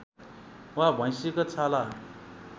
वा भैँसीको छाला